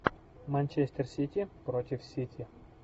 манчестер сити против сити